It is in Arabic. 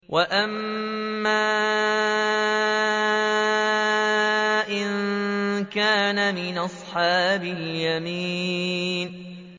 وَأَمَّا إِن كَانَ مِنْ أَصْحَابِ الْيَمِينِ